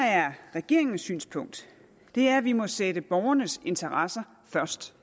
regeringens synspunkt er at vi må sætte borgernes interesser først